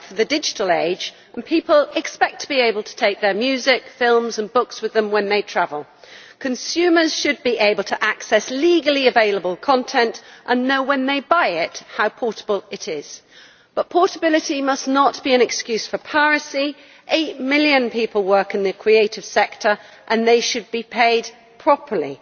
Madam President, we do need to update copyright for the digital age, and people expect to be able to take their music, films and books with them when they travel. Consumers should be able to access legally available content and know when they buy it how portable it is. But portability must not be an excuse for piracy 8 million people work in the creative sector and they should be paid properly.